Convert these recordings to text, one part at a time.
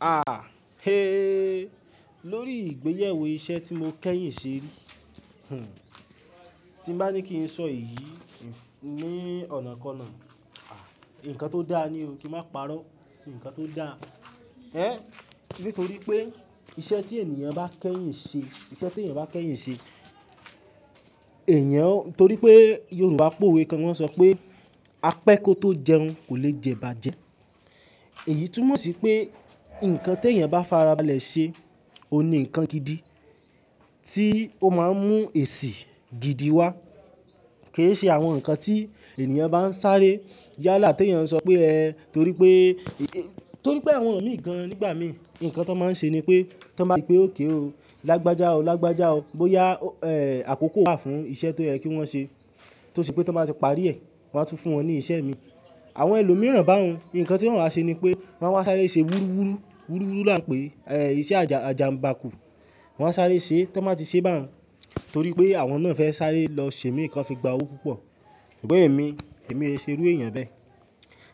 A, he, lórí ìgbéyẹ̀wò iṣẹ́ tí mo kẹ́yìn ṣe rí. Hmn, tí n bá ní kí n sọ èyí ní ọ̀nà ko náà, nǹkan tó dáa ni o, kí n má parọ́, nǹkan tó dáa. Ẹn, nítorí pé iṣẹ́ tí ènìyàn bá kẹ́yìn ṣe, iṣẹ́ tí ènìyàn bá kẹ́yìn ṣe, ènìyàn, nítorí pé Yorùbá pòwe kan wọn sọ pé "apẹ́ kò tó jẹun, kò lè jẹ bàjẹ́". Èyí túmọ̀ sí pé nǹkan te èyàn bá farabalẹ̀ ṣe, ó ní nǹkan gidi tí ó máa ń mú èsì gidi wá. Ke ṣe àwọn nǹkan tí ènìyàn bá ń sáré yálà tí ènìyàn ń sọ pé ẹ, torí pé, torí pé àwọn mi gan-an nígbà mi, nǹkan tí wọ́n máa ń ṣe ni pé tí wọ́n bá rí pé ókay o, lágbájá o, lágbájá o, bóyá, ẹ́ẹ́, àkókò wà fún iṣẹ́ tó yẹ kí wọ́n ṣe. Tó ṣe pé tí wọ́n bá ti parí ẹ̀, wọ́n á tún fún wọn ní ìṣe mi. Àwọn ẹlòmíràn bá un, nǹkan tí wọ́n wa ṣe ni pé wọ́n máa wá sáré ṣe wúrúwúrú, wúrúwúrú la ń pè é, ẹ́ẹ́, iṣẹ́ àjà, àjànbákù. Wọ́n á sáré ṣe, tí wọ́n bá ti ṣe bá un torí pé àwọn náà fẹ́ sáré lọ ṣe mì kan fi gba owó púpọ̀. Ṣùgbọ́n èmi, èmi e ṣe irú èèyàn bẹ́ẹ̀.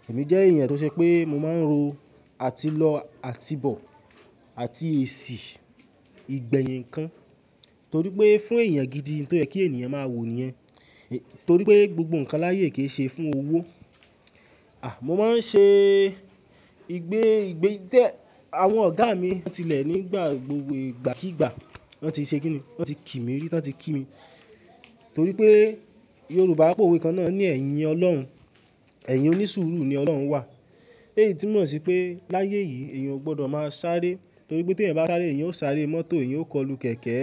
Èmi jẹ́ èèyàn tó ṣe pé mo máa ń ro àtilọ́, àtibọ̀ àti èsì ìgbẹ̀yìn ńkan. Torí pé fún èèyàn gidi n tó yẹ kí ènìyàn máa wò ni yẹn. Torí pé gbogbo nǹkan láyé kì í ṣe fún owó. À, mo máa ń ṣe ìgbé, ìgbé tí ẹ, àwọn ọ̀gá mi wọ́n tilẹ̀ nígbà gbogbo ìgbà kígba, wọ́n ti ṣe kìni, wọ́n ti kì mí ri, tan ti kí mi. Torí pé Yorùbá pòwe kan náà ní "ẹ̀yìn Ọlọ́run, ẹ̀yìn onísùúrù ni Ọlọ́run wà". Èyí túmọ̀ sí pé láyé yìí èèyàn ò gbọdọ̀ máa sáré. Torí pé tí èèyàn bá sáré, èèyàn ó sáré mọ́tò, èèyàn ó kọlù kẹ̀ẹ̀kẹ́.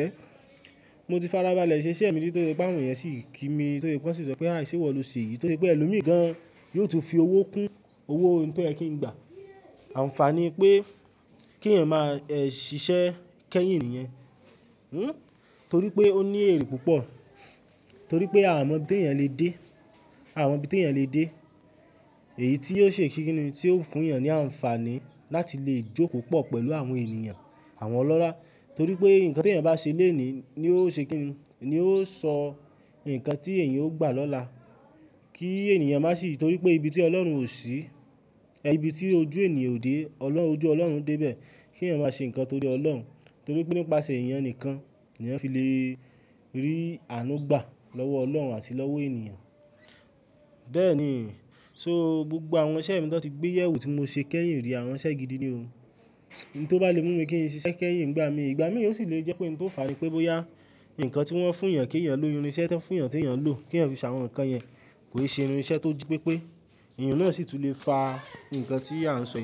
Mo ti farabalẹ̀ ṣe iṣẹ́ mi to se pé àwọn èèyàn sì ń kí mi, to se pé wọ́n sì sọ pé "à sẹ́wọ̀ lọ se yi", to se pé ẹlòmíì gan-an yóò tún fi owó kún owó ohun tó yẹ kí n gbà. Àǹfààní pé kí èèyàn máa, ẹ́ẹ́, ṣiṣẹ́ kẹ́yìn niyen, hm, torí pé ó ní èrì púpọ̀. Torí pé a mọ bí te èèyàn le dé, a mọ bí ti èèyàn le dé. Èyí tí yóò ṣe kíni tí yóò fún èèyàn ní àǹfààní láti lè jó pọ̀ pẹ̀lú àwọn èniyàn, àwọn ọlọ́lá. Torí pé nǹkan tí èyàn bá ṣe lónìí ni ó ṣe kìni, ni ó sọ nǹkan tí èyàn ó gbà lọ́la. Kí èniyàn má sì, torí pé ibi tí Ọlọ́run ò sí, ẹ́ ẹ́, ibi tí ojú ènìyàn ò dé, olorun, ojú Ọlọ́run dé bẹ́ẹ̀. Kí èèyàn má ṣe nǹkan torí Ọlọ́run, torí pé nípasẹ̀ èèyàn nìkan ni èyan fi le rí ànú gbà lọ́wọ́ Ọlọ́run àti lọ́wọ́ ènìyàn. Bẹ́ẹ̀ ni, so gbogbo àwọn iṣẹ́ mi tó n ti gbé yẹ̀wo tí mo ṣe kẹ́yìn rí, àwọn iṣẹ́ gidi ni o. Ohun tó bá le mú mi kí n ṣe iṣẹ́ kẹ́yìn nígbà mi, ìgbà mi yoò sì lè jẹ́ pé oun tó fàá nipé bóyá nǹkan tí wọ́n fún èyàn kí èyàn lò, irinṣẹ́ ta n fún èyàn tí èyàn ń lò kí èèyàn fi ṣe àwọn nǹkan yẹn kò í ṣe irin iṣẹ́ tó ji pépé. Ẹ̀yàn náà sì tún lè fa nǹkan tí a ń sọ.